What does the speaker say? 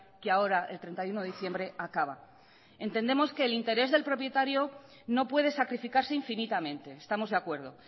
que ahora el treinta y uno de diciembre acaba entendemos que el interés del propietario no puede sacrificarse infinitamente estamos de acuerdo